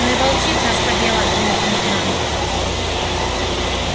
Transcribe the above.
но и волчица ослабела от полученных ран